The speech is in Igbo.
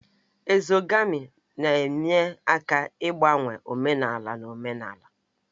Ezogamị na-enye aka n'ịgbanwe omenala na omenala